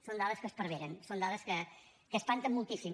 són dades que esparveren són dades que espanten moltíssim